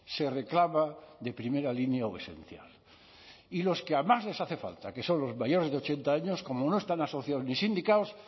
se reclama de primera línea o esencial y a los que más les hace falta que son los mayores de ochenta años como no están asociados ni sindicados